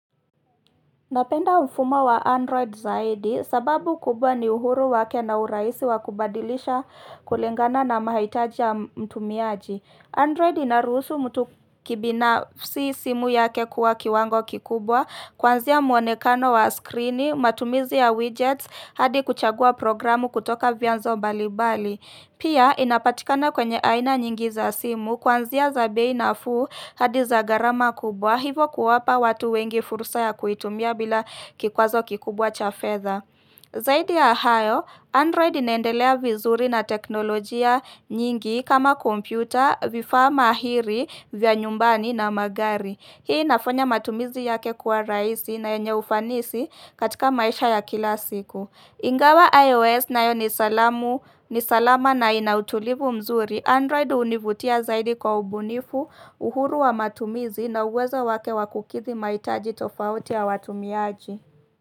Napenda mfumo wa Android zaidi, sababu kubwa ni uhuru wake na urahisi wa kubadilisha kulingana na mahitaji ya mtumiaji. Android inaruhusu mtu kibinafsi simu yake kuwa kiwango kikubwa, kuanzia mwonekano wa skrini, matumizi ya widgets, hadi kuchagua programu kutoka vyanzo mbalimbali. Pia, inapatikana kwenye aina nyingi za simu kuanzia za bei nafuu hadi za gharama kubwa, hivo kuwapa watu wengi fursa ya kuitumia bila kikwazo kikubwa cha fedha. Zaidi ya hayo, Android inaendelea vizuri na teknolojia nyingi kama kompyuta, vifaa mahiri vya nyumbani na magari. Hii inafanya matumizi yake kuwa rahisi na yenye ufanisi katika maisha ya kila siku. Ingawa iOS nayo ni salama na ina utulivu mzuri. Android hunivutia zaidi kwa ubunifu, uhuru wa matumizi na uwezo wake wa kukidhi mahitaji tofauti ya watumiaji.